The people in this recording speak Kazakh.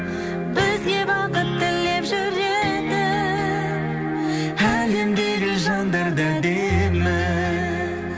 бізге бақыт тілеп жүретін әлемдегі жандар да әдемі